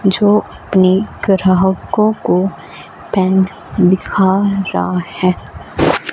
जो अपनी ग्राहकों को पेन दिखा रा है।